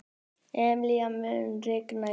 Emilíana, mun rigna í dag?